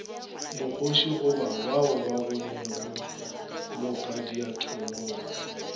mokgoši gorebao ba bonego mokadiatholaba